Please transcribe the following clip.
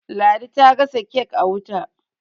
ladi ta gasa kek a wuta